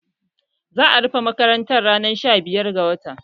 Za'a rufe makaranta ranar sha biyar ga wata